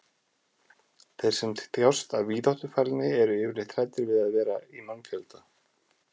þeir sem þjást af víðáttufælni eru yfirleitt hræddir við að vera í mannfjölda